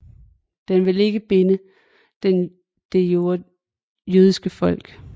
Den vil ikke binde det jødiske folk